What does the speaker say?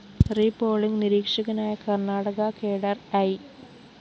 repolling നിരീക്ഷകനായ Karnataka cadre I